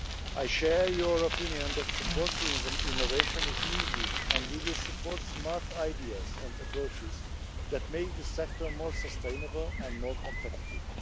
I share your opinion that support to innovation is needed, and we will support smart ideas and approaches that make the sector more sustainable and more competitive.